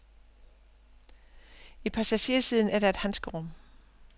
I passagersiden er der et handskerum.